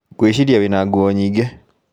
Ngwĩciria wĩ na nguo nyingĩ